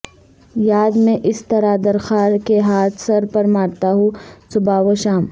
یاد میں اس طرہ در خار کے ہاتھ سر پر مارتا ہوں صبح و شام